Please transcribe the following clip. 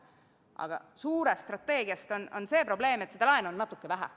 Aga suure strateegia mõttes on see probleem, et seda laenu on natuke vähe.